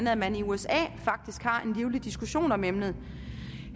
at man i usa faktisk har en livlig diskussion om emnet